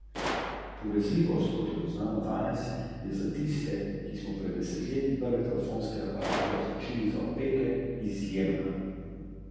Člani, ki se združenju na novo pridružijo, morajo podpisati etični kodeks.